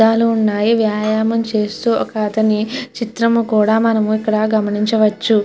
అద్దాలు ఉన్నాయ్. వ్యాయామం చేస్తూ ఒక చిత్రం అని కూడా మనం ఇక్కడ గమనించవచ్చు.